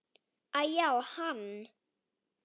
Æ-já, hann.